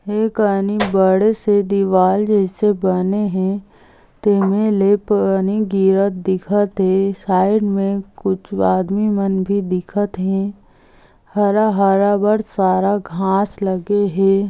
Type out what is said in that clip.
ए कानी बड़े से दिवार जइसे बने हे तेमे ले पानी गिरत दिखत हे साइड में कुछ आदमी मन बी दिखत हे हरा - हरा बड सारा घास लगे हे।